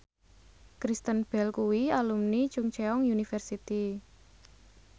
Kristen Bell kuwi alumni Chungceong University